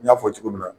N y'a fɔ cogo min na